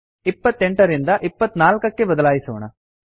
28 ರಿಂದ 24 ಕ್ಕೆ ಬದಲಿಸೋಣ